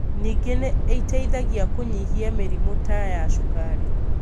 Ningĩ nĩ ĩteithagia kũnyihia mĩrimũ ta ya cukari.